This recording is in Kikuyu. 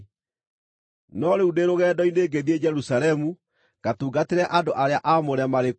No rĩu ndĩ rũgendo-inĩ ngĩthiĩ Jerusalemu ngatungatĩre andũ arĩa aamũre marĩ kũu.